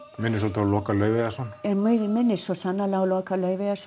minnir svolítið á Loka minnir svo sannarlega á Loka